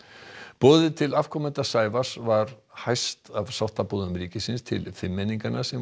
boðið til afkomenda Sævars var hæst af sáttaboðum ríkisins til fimmenninganna sem